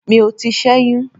Mi ò tíì sẹ́yún.